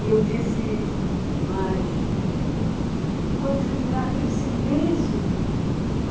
E eu disse, mas... e quando eu cheguei lá, aquele silêncio!